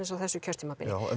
á þessu kjörtímabili